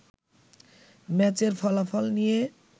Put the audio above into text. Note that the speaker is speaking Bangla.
ম্যাচের ফলাফল নিয়ে